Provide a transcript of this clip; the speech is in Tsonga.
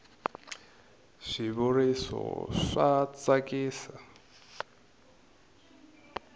swi vuriso swa tsakisa